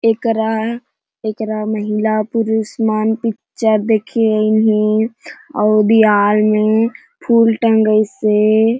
एकरा एकरा महिला पुरुष मन पिक्चर देखे अनहि ही अउ दीवाल में फुल टंगइस हे।